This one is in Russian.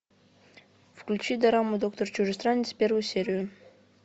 включи дораму доктор чужестранец первую серию